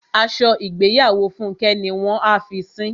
Aṣọ ìgbéyàwó Fúnkẹ́ ni wọ́n a fi sín.